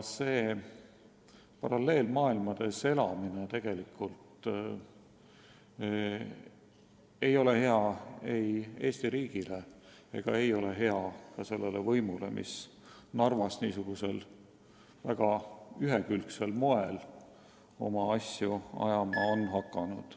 Säärane paralleelmaailmades elamine pole hea ei Eesti riigile ega ka sellele võimule, mis Narvas niisugusel väga ühekülgsel moel oma asju ajama on hakanud.